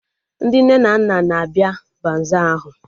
Ndị nne na nna na-abịa baza ahụ